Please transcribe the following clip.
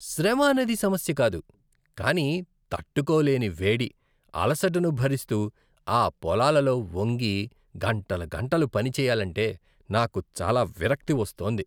శ్రమ అనేది సమస్య కాదు, కానీ తట్టుకోలేని వేడి, అలసటను భరిస్తూ ఆ పొలాలలో వంగి గంటలు గంటలు పనిచేయాలంటే నాకు చాలా విరక్తి వస్తోంది.